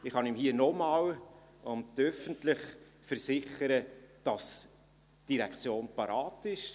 Ich kann ihm hier noch einmal, öffentlich, versichern, dass die Direktion bereit ist.